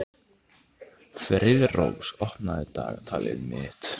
Friðrós, opnaðu dagatalið mitt.